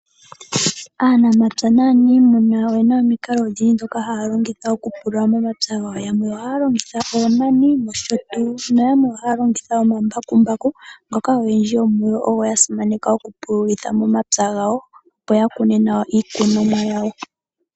Aanamapya naaniimuna oye na omikalo odhindji ndhoka haya longitha okupulula momapya gawo. Yamwe ohaya longitha oonani, ohaya longitha wo omambakumbaku ngoka oyendji yomu yo ye ga simaneka okupululitha momapya gawo, opo ya kune nawa iikunomwa yawo.